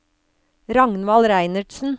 Ragnvald Reinertsen